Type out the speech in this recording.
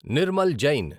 Nirmal Jain